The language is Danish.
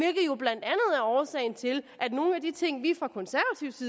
at årsagen til at nogle af de ting vi i